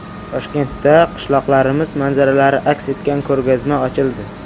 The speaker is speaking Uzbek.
Toshkentda qishloqlarimiz manzaralari aks etgan ko‘rgazma ochildi .